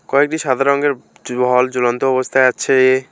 কয়েকটি সাদা রঙের ঝুলন্ত অবস্থায় আছে।